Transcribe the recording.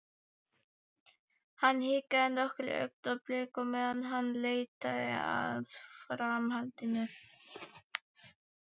Hann hikar nokkur augnablik á meðan hann leitar að framhaldinu.